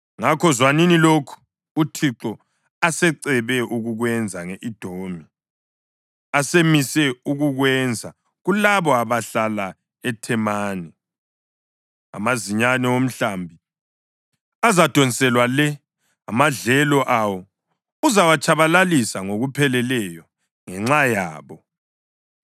Ngakho, zwanini lokho uThixo asecebe ukukwenza nge-Edomi, asemise ukukwenza kulabo abahlala eThemani: Amazinyane omhlambi azadonselwa le; amadlelo awo uzawatshabalalisa ngokupheleleyo ngenxa yabo.